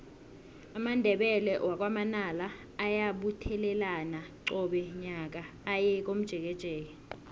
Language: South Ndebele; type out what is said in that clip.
amandebele wakwa manala ayabuthelana qobe nyaka aye komjekejeke